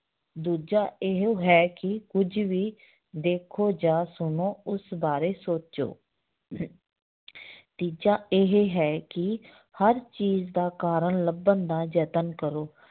ਦੂਜਾ ਇਹ ਹੈ ਕਿ ਕੁੱਝ ਵੀ ਦੇਖੋ ਜਾਂ ਸੁਣੋ ਉਸ ਬਾਰੇ ਸੋਚੋ ਤੀਜਾ ਇਹ ਹੈ ਕਿ ਹਰ ਚੀਜ਼ ਦਾ ਕਾਰਨ ਲੱਭਣ ਦਾ ਯਤਨ ਕਰੋ